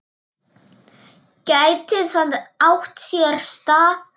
Gæti það átt sér stað?